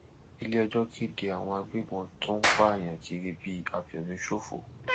iléẹjọ kéde àwọn agbébọn tó ń pààyàn kiri bíi àfẹmíṣòfò